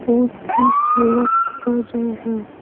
उसकी सेवा कर रहे हैं।